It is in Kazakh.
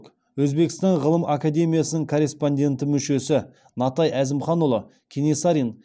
өзбекстан ғылым академиясының корреспонденті мүшесі натай әзімханұлы кенесарин